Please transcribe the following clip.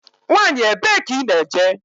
Nwanyi ebee ka I ná-eje?